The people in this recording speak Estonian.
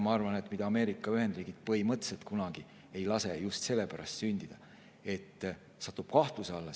Ma arvan, et Ameerika Ühendriigid põhimõtteliselt ei lase sel kunagi sündida just sellepärast, et see süsteem satuks kahtluse alla.